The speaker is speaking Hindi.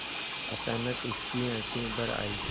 अचानक उसकी आँखें भर आईं